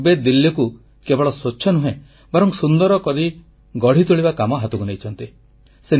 ସେ କିଛିଦିନ ପୂର୍ବେ ଦିଲ୍ଲୀକୁ କେବଳ ସ୍ୱଚ୍ଛ ନୁହେଁ ବରଂ ସୁନ୍ଦର କରି ଗଢ଼ି ତୋଳିବା କାମ ହାତକୁ ନେଇଛନ୍ତି